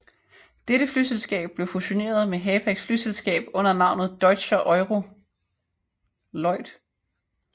Dette flyselskab blev fusioneret med Hapags flyselskab under navnet Deutscher Aero Lloyd